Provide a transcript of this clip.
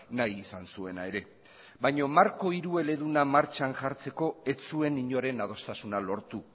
nahi izan zuena ere baina marko hirueleduna martxan jartzeko ez zuen inoren adostasuna lortu